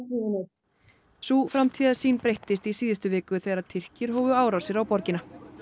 sú framtíðarsýn breyttist í síðustu viku þegar Tyrkir hófu árásir á borgina